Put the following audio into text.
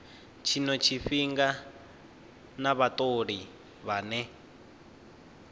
tshino tshifhinga na vhatholi vhane